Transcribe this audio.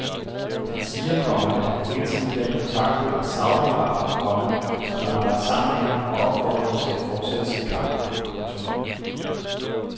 Han siger, komma at han hele tiden bliver kontaktet af saudiarabere, komma som vil arbejde sammen med ham og opfordrer ham til at fortsætte sin kamp. punktum